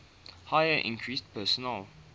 heater increases personal